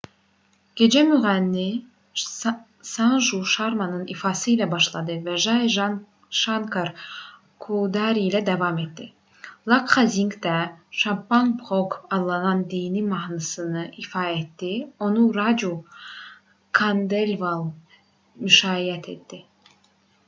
gecə müğənni sanju şarmanın ifası ilə başladı və jai şankar coudari ilə davam etdi lakxa zinq də chhappan bhog adlanan dini mahnısını ifa etdi onu racu kandelval müşayiət etdi